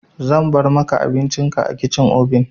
Zan bar maka abincin ka a cikin obin.